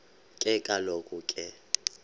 ke kaloku ke